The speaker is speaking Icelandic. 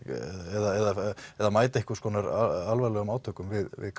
eða eða mæta einhvers konar alvarlegum átökum við við